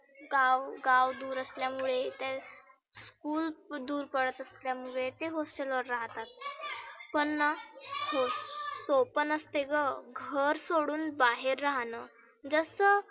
गाव गाव दुर असल्यामुळे खुप दुर पडत असल्यामुळे ते hostel वर राहतात. पण ना hope पण असते गं. घर सोडुन बाहेर राहणं जसं